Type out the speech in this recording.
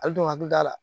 Ali dun ka du da la